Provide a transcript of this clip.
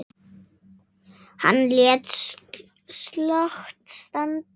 Hann lét slag standa.